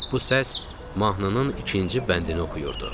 Bu səs mahnının ikinci bəndini oxuyurdu.